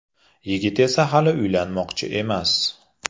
Yigit esa hali uylanmoqchi emas.